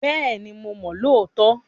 Bẹ́ẹ̀ni mo lóòótọ́